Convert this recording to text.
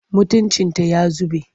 Mutuncinta ya zube.